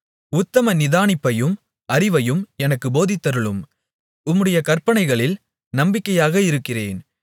உத்தம நிதானிப்பையும் அறிவையும் எனக்குப் போதித்தருளும் உம்முடைய கற்பனைகளில் நம்பிக்கையாக இருக்கிறேன்